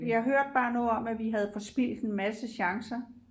jeg hørte bare noget med at vi havde forspildt en masse chancer